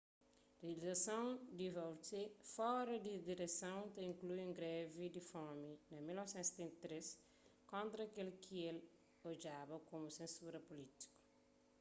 rializasons di vautier fora di direson ta inklui un grevi di fomi na 1973 kontra kel ki el é odjaba komu sensura pulítiku